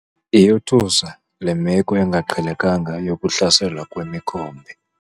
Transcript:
Iyothusa le meko engaqhelekanga yokuhlaselwa kwemikhombe.